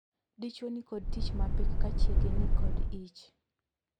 Dichwo ni kod tich mapek ka chiege ni kod ich.